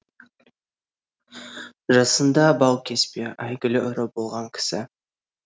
жасында баукеспе әйгілі ұры болған кісі